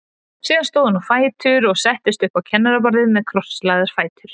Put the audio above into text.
Síðan stóð hún á fætur og settist upp á kennaraborðið með krosslagða fætur.